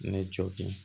Ne jogin